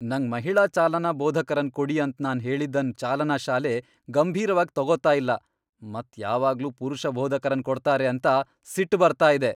ನಂಗ್ ಮಹಿಳಾ ಚಾಲನಾ ಬೋಧಕರನ್ ಕೊಡಿ ಅಂತ್ ನಾನ್ ಹೇಳಿದನ್ ಚಾಲನಾ ಶಾಲೆ ಗಂಭೀರವಾಗಿ ತಗೋತಾ ಇಲ್ಲ ಮತ್ ಯಾವಾಗ್ಲೂ ಪುರುಷ ಬೋಧಕರನ್ ಕೊಡ್ತಾರೆ ಅಂತ ಸಿಟ್ ಬರ್ತಾ ಇದೆ.